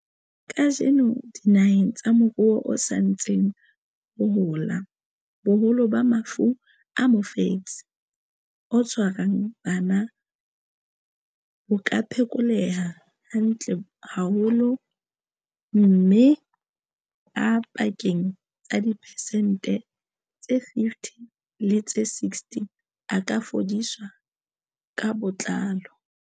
Kajeno, dinaheng tsa moruo o sa ntseng o hola, boholo ba mafu a mofetshe o tshwarang bana bo ka phekoleha hantle haholo, mme a pakeng tsa diphesente tse 50 le tse 60 a ka fodiswa ka botlalo.